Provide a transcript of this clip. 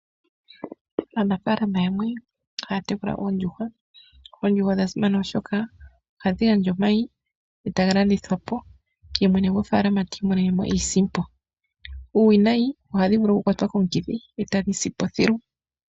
Aanafaalama yamwe ohaya tekula oondjuhwa. Oondjuhwa odha simana oshoka, ohashi gandja omayi etaga landithwapo , yemwene gofaalama tiimonenemo iisimpo. Uuwinayi ohadhi vulu okukwatwa komukithi, etadhi sipo thilu.